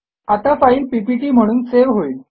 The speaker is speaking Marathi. आता फाईल पीपीटी म्हणून सेव्ह होईल